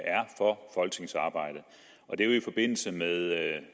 er for folketingsarbejdet og det er i forbindelse med